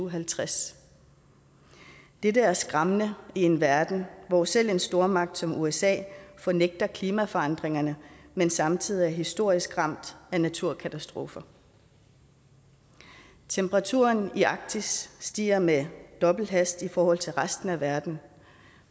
og halvtreds det er skræmmende i en verden hvor selv en stormagt som usa fornægter klimaforandringerne men samtidig er historisk ramt af naturkatastrofer temperaturen i arktis stiger med dobbelt hastighed i forhold til resten af verden